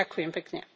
Ďakujem pekne.